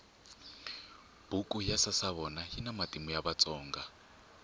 buku ya sasavona yina matimu ya vatsonga